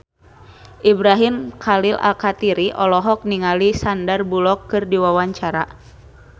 Ibrahim Khalil Alkatiri olohok ningali Sandar Bullock keur diwawancara